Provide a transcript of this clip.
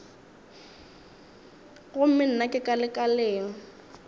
gomme nna ke ka lekaleng